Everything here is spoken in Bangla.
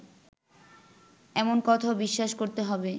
এমন কথাও বিশ্বাস করতে হবে